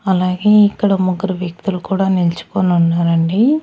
అలాగే ఇక్కడ ముగ్గురు వ్యక్తులు కూడా నిల్చుకొనున్నారండి.